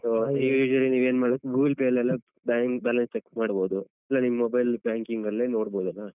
So usually ನೀವ್ ಏನ್ ಮಾಡ್ಬೇಕ್ Google Pay ಲ್ಲೆಲ್ಲಾ ಹ್ಮ್ bank balance check ಮಾಡ್ಬೋದು, ಇಲ್ಲ ನಿಮ್ mobile banking ಲ್ಲೇ ನೋಡ್ಬೋದಲ್ಲ.